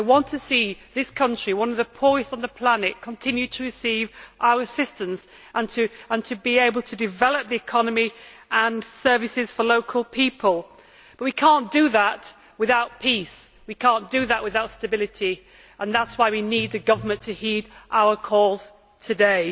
I want this country, one of the poorest on the planet, to continue to receive our assistance and to be able to develop the economy and services for local people, but we cannot do that without peace, we cannot do that without stability, and that is why we need the government to heed our calls today.